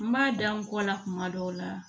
N b'a da n kɔ la kuma dɔw la